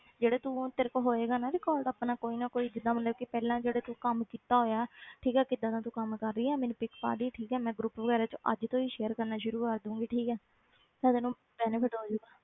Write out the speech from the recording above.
ਜਿਹੜੇ ਤੂੰ ਤੇਰੇ ਕੋਲ ਹੋਏਗਾ ਨਾ record ਆਪਣਾ ਕੋਈ ਨਾ ਕੋਈ ਜਿੱਦਾਂ ਮਤਲਬ ਕਿ ਪਹਿਲਾਂ ਜਿਹੜੇ ਤੂੰ ਕੰਮ ਕੀਤਾ ਹੋਇਆ ਠੀਕ ਹੈ ਕਿੱਦਾਂ ਦਾ ਤੂੰ ਕੰਮ ਕਰ ਰਹੀ ਆਂ ਮੈਨੂੰ pic ਪਾ ਦੇਈਂ ਠੀਕ ਹੈ ਮੈਂ group ਵਗ਼ੈਰਾ 'ਚ ਅੱਜ ਤੋਂ ਹੀ share ਕਰਨਾ ਸ਼ੁਰੂ ਕਰ ਦਊਂਗੀ ਠੀਕ ਹੈ ਫਿਰ ਤੈਨੂੰ benefit ਹੋ ਜਾਊਗਾ